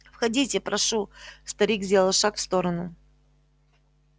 входите прошу старик сделал шаг в сторону